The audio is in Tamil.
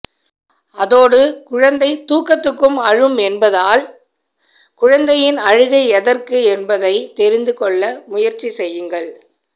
அதோடு குழந்தை தூக்கத்துக்கும் அழும் என்பதால் குழந்தையின் அழுகை எதற்கு என்பதை தெரிந்துகொள்ள முயற்சி செய்யுங்கள்